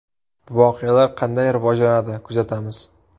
Voqealar qanday rivojlanadi, kuzatamiz.